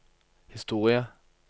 historie